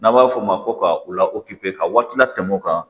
N'an b'a f'o ma ko ka u la ka waati la tɛmɛ o kan